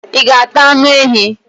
I ga ata anu ehi?